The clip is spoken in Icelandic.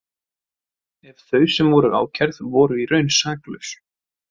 Ef þau sem voru ákærð voru í raun saklaus.